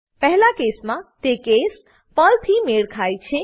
પહેલા કેસમાં તે કેસ પર્લ થી મેળ ખાય છે